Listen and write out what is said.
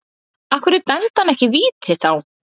Af hverju dæmdi hann ekki víti þá?